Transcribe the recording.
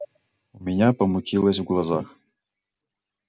у меня помутилось в глазах